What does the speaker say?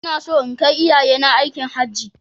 Ina so in kai iyayena aikin Hajji